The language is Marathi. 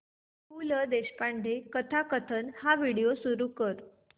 पु ल देशपांडे कथाकथन हा व्हिडिओ सुरू कर